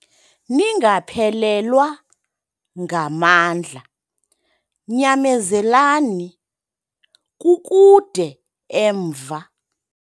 Ningaphelelwa ngamandla nyamezelani, kukude emva.